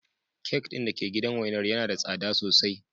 Kek din da ke gidan wainar yana da tsada sosai.